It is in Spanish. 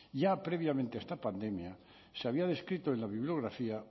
ya previamente a esta pandemia se había descrito en la bibliografía